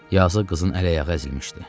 Yazıq qızın əl-ayağı əzilmişdi.